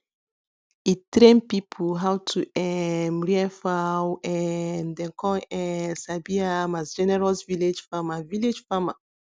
e train people how to um rear fowl um dem con um sabi am as generous village farmer village farmer